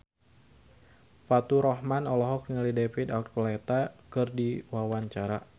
Faturrahman olohok ningali David Archuletta keur diwawancara